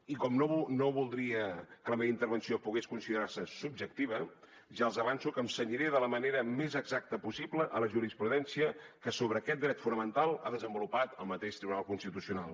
i com que no voldria que la meva intervenció pogués considerar se subjectiva ja els avanço que em cenyiré de la manera més exacta possible a la jurisprudència que sobre aquest dret fonamental ha desenvolupat el mateix tribunal constitucional